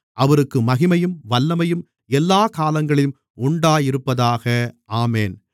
அவருக்கு மகிமையும் வல்லமையும் எல்லாக் காலங்களிலும் உண்டாயிருப்பதாக ஆமென்